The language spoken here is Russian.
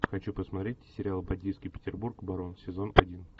хочу посмотреть сериал бандитский петербург барон сезон один